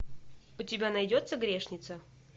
у тебя найдется грешница